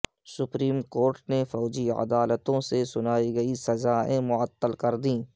supreme court نے فوجی عدالتوں سے سنائی گئی سزائیں معطل کر دیں